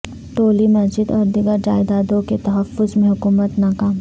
ٹولی مسجد اور دیگر جائیدادوں کے تحفظ میں حکومت ناکام